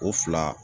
O fila